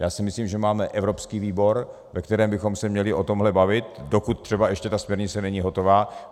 Já si myslím, že máme evropský výbor, ve kterém bychom se měli o tomhle bavit, dokud třeba ještě ta směrnice není hotová.